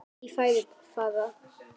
En í fæði fara